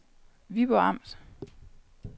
Viborg Amt